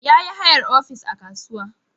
Yayi hayar ofis a kasuwa